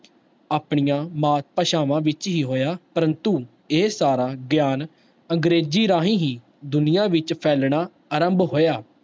ਆਪਣੀਆਂ ਮਾਤ ਭਾਸ਼ਾਵਾਂ ਵਿੱਚ ਹੀ ਹੋਇਆ, ਪਰੰਤੂ ਇਹ ਸਾਰਾ ਗਿਆਨ ਅੰਗਰੇਜ਼ੀ ਰਾਹੀਂ ਹੀ ਦੁਨੀਆਂ ਵਿੱਚ ਫੈਲਣਾ ਆਰੰਭ ਹੋਇਆ।